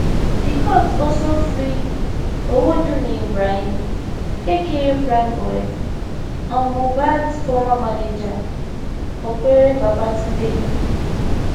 di court also free owodunni ibrahim aka primeboy and mohbads former manager opere babatunde